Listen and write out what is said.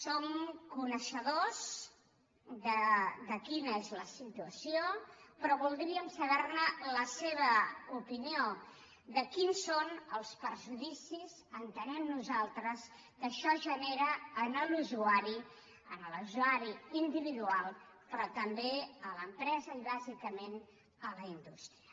som coneixedors de quina és la situació però vol·dríem saber la seva opinió de quins són els perjudi·cis entenem nosaltres que això genera en l’usuari en l’usuari individual però també a l’empresa i bàsica·ment a la indústria